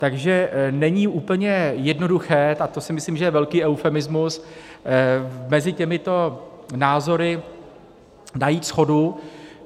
Takže není úplně jednoduché - a to si myslím, že je velký eufemismus - mezi těmito názory najít shodu.